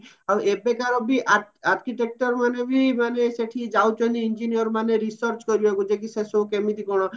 ଆଉ ଏବେକାର ବି architector ମାନେ ବି ସେଠି ଯାଉଚନ୍ତି engineer ମାନେ research କରିବାକୁ ଯେ କି ସେସବୁ କେମିତି କଣ